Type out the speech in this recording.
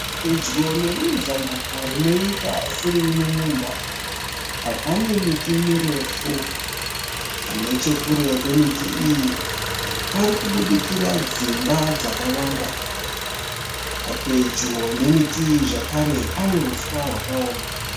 Pedyo nerimwe zambuko rinoita seriri mumunda, pane miti mirefu. Nechekure kwemiti iyi parikubudikira dzimba dzakawanda. Pedyo nemiti iyi zvakare pane huswa hwakaoma.